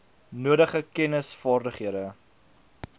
nodige kennis vaardighede